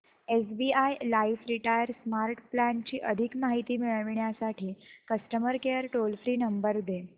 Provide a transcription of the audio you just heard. SBI life retire smart plan ची अधिक माहिती मिळविण्यासाठी customer care toll free number दे